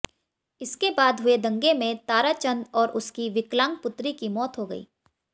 इसके बाद हुए दंगे में ताराचंद और उसकी विकलांग पुत्री की मौत हो गई